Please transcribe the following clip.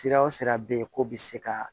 Sira o sira bɛ ye k'o bɛ se ka